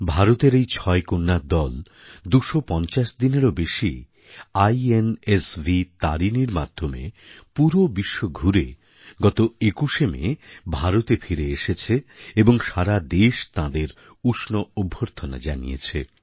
ভারতের এই ছয় কন্যার দল ২৫০ দিনেরও বেশি আইএনএসভি তারিনীর মাধ্যমে পুরো বিশ্ব ঘুরে গত ২১শে মে ভারতে ফিরে এসেছে এবং সারা দেশ তাঁদের উষ্ণ অভ্যর্থনা জানিয়েছে